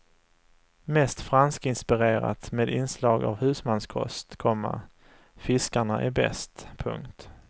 Mest franskinspirerat med inslag av husmanskost, komma fiskarna är bäst. punkt